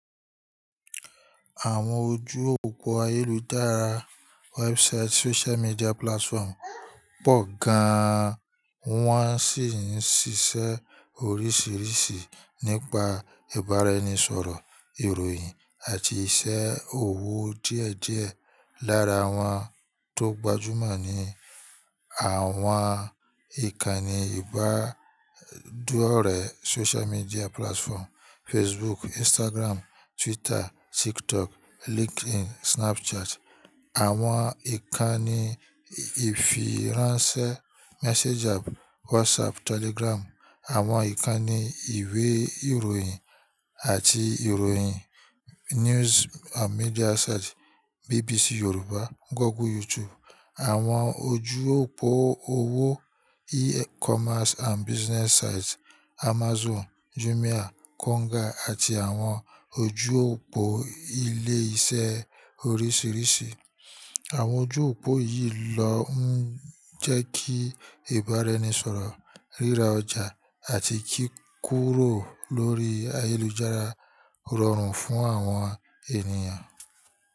Àwọn ojú òpó ayélujára website, social media platform pọ̀ gan-an, wọ́n sì ń ṣiṣẹ́ oríṣìíríṣìí nípa ìbára ẹni sọ̀rọ̀, ìròyìn àti iṣẹ́ òwò díẹ̀díẹ̀. Lára àwọn tó gbajúmọ̀ ni àwọn ǹkan ni ibanidore social media platform facebook, instagram, twitter, tiktok, LinkedIn, Snapchat àwọn ǹkan ni ìfiránṣẹ́ messenger WhatsApp, Telegram, àwọn ìkànnì ìwé ìròyìn àti ìròyìn news and media site BBC Yorùbá, Google, YouTube, àwọn ojú òpó òwò e-commerce and business site Amazon, Jumia, Konga àti àwọn ojú òpó ilé iṣẹ́ oríṣìíríṣìí. Àwọn ojú òpó yìí ló ń jẹ́ kí ìbára ẹni sọ̀rọ̀, ríra ọjà àti kíkúrò lórí ayélujára rọrùn fún àwọn ènìyàn.